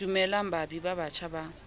dumellang baabi ba batjha ba